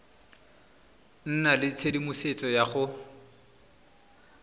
nna le tshedimosetso ya go